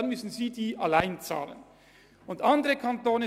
Andere Kantone sagen klar, dass die HF keine Zusatzbeiträge benötigten.